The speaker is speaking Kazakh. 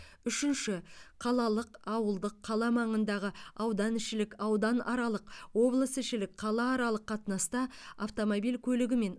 үшінші қалалық ауылдық қала маңындағы ауданішілік ауданаралық облысішілік қалааралық қатынаста автомобиль көлігімен